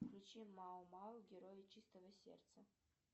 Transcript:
включи мао мао герои чистого сердца